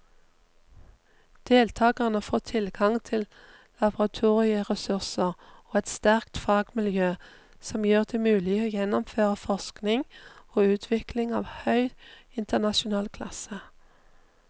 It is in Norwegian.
Deltakerne får tilgang til laboratorieressurser og et sterkt fagmiljø som gjør det mulig å gjennomføre forskning og utvikling av høy internasjonal klasse.